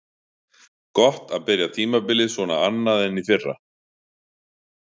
Gott að byrja tímabilið svona annað en í fyrra.